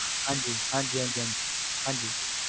ਹਾਂਜੀ ਹਾਂਜੀ ਹਾਂਜੀ ਹਾਂਜੀ ਹਾਂਜੀ